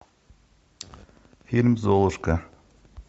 фильм золушка